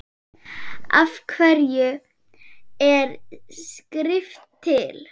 Af hverju er skrift til?